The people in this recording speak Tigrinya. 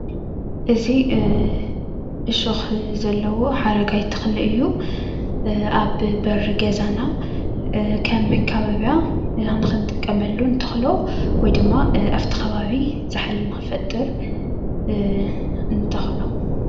እዚ ዕሾክ ዘለዎ ሓረግ ዓይነት ተክሊ እዩኣብ በሪ ገዛና ከም መከባብያ ንክንጥቀመሉ እንተክሎ ወይ ድማ ኣብቲ ከባቢ ዛሕሊ ንክፈጥር ንተክሎ፡፡